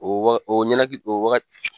O waga o ɲɛnakili o wagati